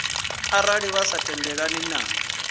arali vha sa tendelani na